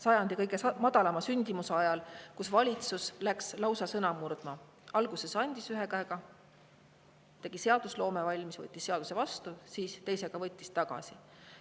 Sajandi kõige madalama sündimuse ajal läks valitsus lausa sõna murdma: alguses andis ühe käega, tegi seadus valmis, võttis seaduse vastu, siis teisega võttis tagasi.